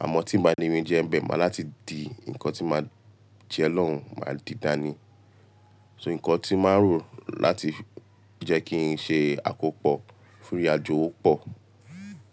Àmọ́ tí n bà ni ri jẹ n bẹ̀, màá láti di, nǹkan tí màá jẹ lọ́hùn máa di dání. So nǹkan tí màá rò láti jẹ́ kí n ṣe àkópọ̀ fún ìrìnàjò wọ́pọ̀.